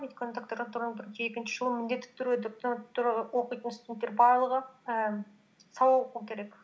өйткені докторантураның бірінші екінші жылы міндетті түрде докторантураға оқитын студенттер барлығы ііі сабақ оқу керек